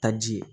Taji ye